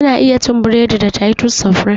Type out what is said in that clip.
Ana iya cin buredi da titus sarfun